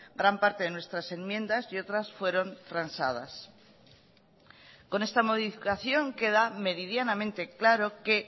gran parte de nuestras enmiendas y otras fueron transadas con esta modificación queda meridianamente claro que